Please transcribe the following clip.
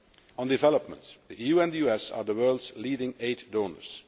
On development the EU and the US are the world's leading aid donors.